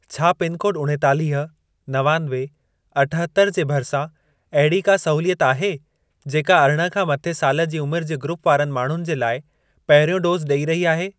छा पिनकोड उणेतालीह, नवानवे, अठहतरि जे भरिसां अहिड़ी का सहूलियत आहे, जेका अरिड़हं खां मथे साल जी उमिर जे ग्रूप वारनि माण्हुनि जे लाइ पहिरियों डोज़ ॾई रही आहे?